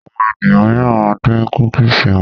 Àwọn ènìyàn míìràn ma ń dín kúkìsì wọn